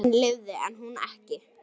Hann lifði en hún ekki.